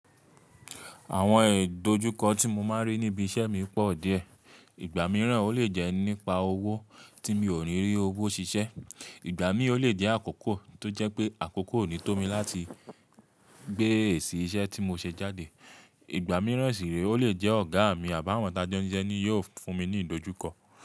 Àwọn ìdojúkọ tí mo máa ń rí níbi iṣẹ́ mi pọ̀ díẹ̀. Ìgbà mìíràn o le jẹ́ nípa owó, tí mi ò ni rí owó ṣiṣẹ́, ìgbà mi o le jẹ́ àkókò tó jẹ́ pé àkókò ò ní tó mi láti gbé èsì iṣẹ́ tí mo ṣe jáde. Ìgbà mìíràn sì ree, ó le jẹ́ ọ̀gá mi, àbi àwọn ta jọ́ n siṣẹ́ ni yi ò fún mi ní ìdojúkọ.